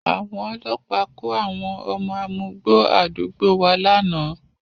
Àwọn ọlọ́pàá kó àwọn ọmọ amugbó àdúgbò wa lánàá